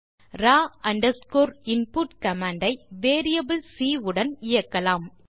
Rao underscore input command ஐ variable C உடன் இயக்கலாம்